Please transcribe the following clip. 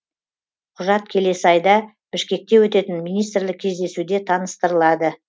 құжат келесі айда бішкекте өтетін министрлік кездесуде таныстырылады